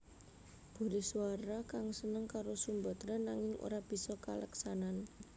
Burisrawa kang seneng karo Sumbadra nanging ora bisa kaleksanan